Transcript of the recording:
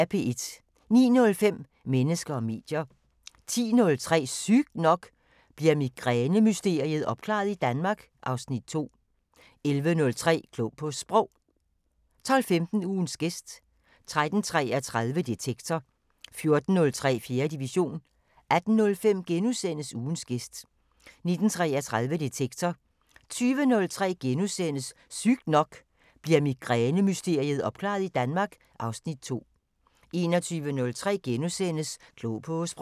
09:05: Mennesker og medier 10:03: Sygt nok: Bliver migræne-mysteriet opklaret i Danmark? (Afs. 2) 11:03: Klog på Sprog 12:15: Ugens gæst 13:33: Detektor 14:03: 4. division 18:05: Ugens gæst * 19:33: Detektor 20:03: Sygt nok: Bliver migræne-mysteriet opklaret i Danmark? (Afs. 2)* 21:03: Klog på Sprog *